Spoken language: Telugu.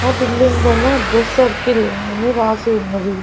ఆ బిల్డింగ్ పైన డ్రెస్ సర్కిల్ అని రాసి ఉన్నది.